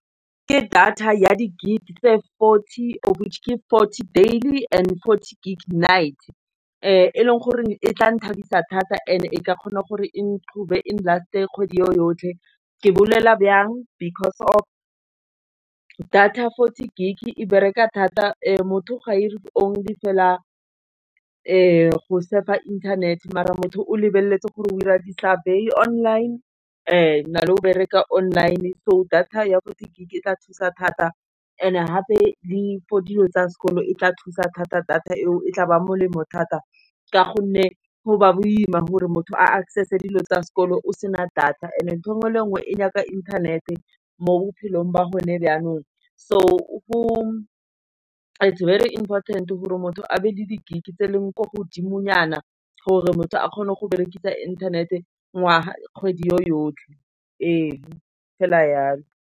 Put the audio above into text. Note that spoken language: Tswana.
Ka data ya di-gig tse fourty off which ke fourty daily and thirty gig night. e leng gore e tla nthabisa thata and e ka kgona gore e and last e kgwedi yotlhe, ke bolela jang because of data fourty gig e bereka thata motho ga a ire only fela go saver-a fela inthanete. Mare motho o lebeletse gore o dira di-saviour online, o na le go bereka online-e so data ya bo di-gg tla thusa thata, and gape le for dilo tsa sekolo e tla thusa thata data e o, e tla ba molemo thata ka gonne go ba boima gore motho a access dilo tsa sekolo o sena data and ntho engwe le engwe e nyaka internet-e mo bophelong ba gone yanong. So is very important-e gore motho a be le le gig tse e leng ko godimonyana, gore motho a kgone go berekisa internet-e, kgwedi yo yotlhe fela yalo.